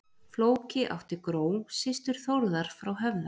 Flóki átti Gró, systur Þórðar frá Höfða.